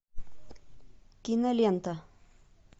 кинолента